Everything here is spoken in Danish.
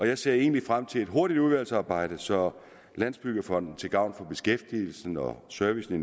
jeg ser egentlig frem til et hurtigt udvalgsarbejde så landsbyggefonden til gavn for beskæftigelsen og servicen i